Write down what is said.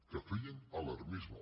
que feien alarmisme